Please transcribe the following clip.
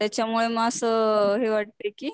त्याच्यामुळे म अस हे वाटतंय कि